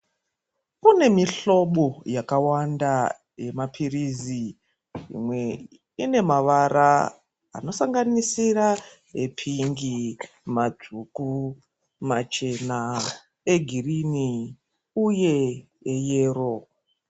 Kune mihlobo yakawanda yemaphirizi, imwe ine mavara anosanganisira ephingi, matsvuku, machena, egirini uye eyero.